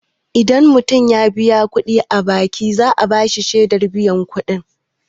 Idan mutum ya biya kuɗi a banki, za'a bashi shaidar biyan kudi.